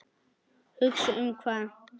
Hugsa um hvað?